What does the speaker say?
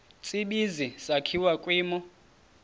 tsibizi sakhiwa kwimo